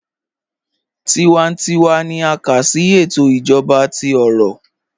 Tíwántíwá ní à ká sí ètò ìjọba tí ó rọ̀.